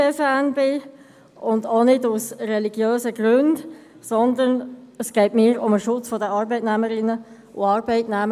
Ich lehne sie auch nicht aus religiösen Gründen ab, sondern es geht mir um den Schutz der Arbeitnehmerinnen und Arbeitnehmer;